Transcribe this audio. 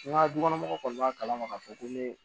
N ka dukɔnɔmɔgɔw kɔni b'a kalama k'a fɔ ko ne